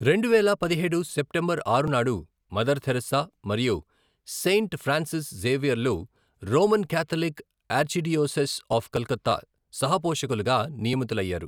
రెండువేల పదిహేడు సెప్టెంబర్ ఆరు నాడు మదర్ థెరిస్సా మరియు సెయింట్ ఫ్రాన్సిస్ జేవియర్లను Roman Catholic Archdiocese of Calcutta సహ పోషకులుగా నియమితులయ్యారు.